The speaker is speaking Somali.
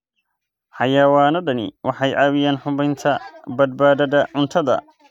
Xayawaanadani waxay caawiyaan hubinta badbaadada cuntada.